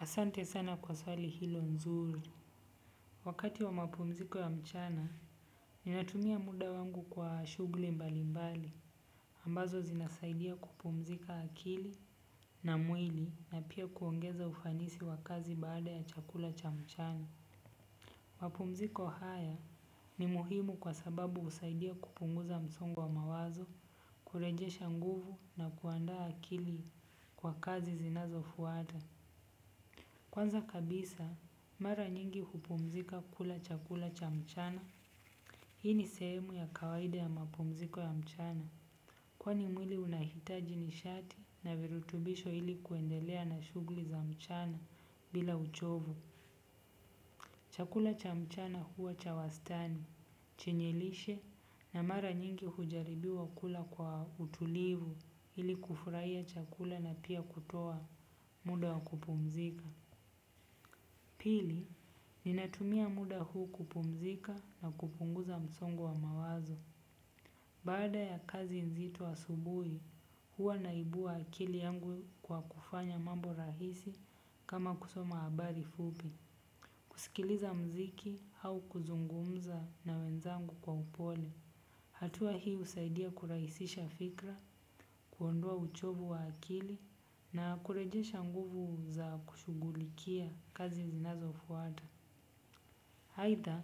Asante sana kwa swali hilo nzuri. Wakati wa mapumziko ya mchana, ninatumia muda wangu kwa shugli mbali mbali. Ambazo zinasaidia kupumzika akili na mwili na pia kwongeza ufanisi baada ya chakula cha mchana. Mapumziko haya ni muhimu kwa sababu husaidia kupunguza msongu wa mawazo, kurejesha nguvu na kuandaa akili kwa kazi zinazo fuata. Kwanza kabisa mara nyingi hupumzika kula chakula cha mchana. Hii ni sehemu ya kawaida ya mapumziko ya mchana. Kwani mwili unahitaji ni shati na virutubisho ili kuendelea na shugli za mchana bila uchovu. Chakula cha mchana huwa chawastani, chenye lishe na mara nyingi hujaribiwa kula kwa utulivu ili kufurahia chakula na pia kutoa muda wa kupumzika. Pili, ninatumia muda huu kupumzika na kupunguza msongo wa mawazo. Baada ya kazi nzito asubui hua naibua akili yangu kwa kufanya mambo rahisi kama kusoma habari fupi kusikiliza mziki hau kuzungumza na wenzangu kwa upole. Hatua hi usaidia kuraisisha fikra, kuondoa uchovu wa akili na kurejesha nguvu za kushugulikia kazi zinazo fuata. Haitha,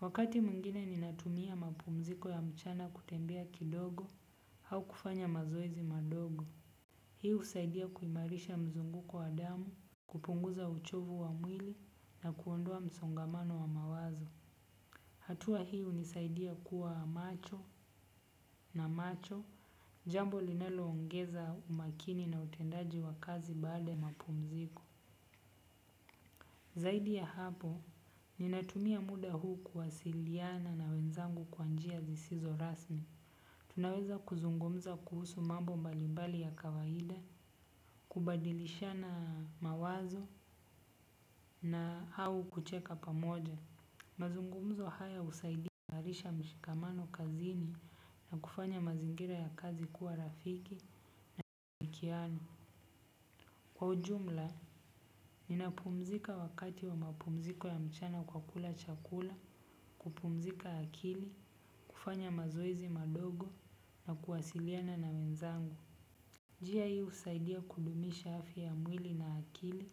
wakati mwingine ninatumia mapumziko ya mchana kutembea kidogo au kufanya mazoezi madogo. Hi usaidia kuimarisha mzunguko wa damu, kupunguza uchovu wa mwili na kuondoa msongamano wa mawazo. Hatua hi unisaidia kuwa macho na macho jambo linaloongeza umakini na utendaji wa kazi baada ya mapumziko. Zaidi ya hapo, ninatumia muda huu kuwasiliyana na wenzangu kwanjia zisizo rasmi. Tunaweza kuzungumza kuhusu mambo mbalibali ya kawahida, kubadilishana mawazo na hau kucheka pamoja. Mazungumzo haya husaidia na harisha mshikamano kazini na kufanya mazingira ya kazi kuwa rafiki, mkiano. Kwa ujumla, ninapumzika wakati wa mapumziko ya mchana kwa kula chakula, kupumzika akili, kufanya mazoezi madogo na kuwasiliana na wenzangu. Njia hi usaidia kudumisha afya ya mwili na akili,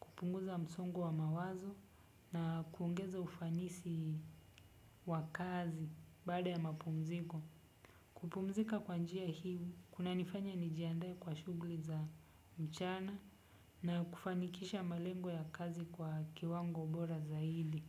kupunguza msongo wa mawazo na kuongeza ufanisi wakazi bada ya mapumziko. Kupumzika kwa njia hii, kuna nifanya nijiaandae kwa shugli za mchana na kufanikisha malengo ya kazi kwa kiwango bora zaidi.